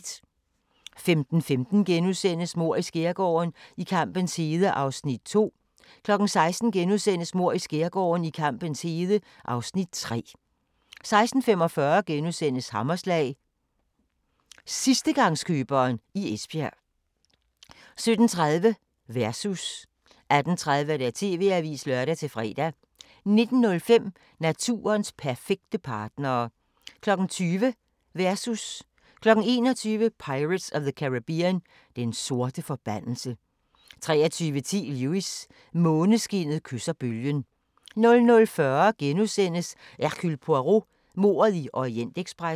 15:15: Mord i Skærgården: I kampens hede (Afs. 2)* 16:00: Mord i Skærgården: I kampens hede (Afs. 3)* 16:45: Hammerslag – sidstegangskøberen i Esbjerg * 17:30: Versus 18:30: TV-avisen (lør-fre) 19:05: Naturens perfekte partnere 20:00: Versus 21:00: Pirates of the Caribbean: Den sorte forbandelse 23:10: Lewis: Måneskinnet kysser bølgen 00:40: Hercule Poirot: Mordet i Orientekspressen *